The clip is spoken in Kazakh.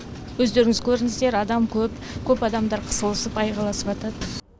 өздеріңіз көрдіңіздер адам көп көп адамдар қысылысып айғайласыватады